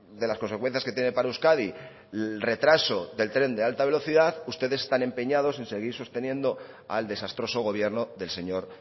de las consecuencias que tiene para euskadi el retraso del tren de alta velocidad ustedes están empeñados en seguir sosteniendo al desastroso gobierno del señor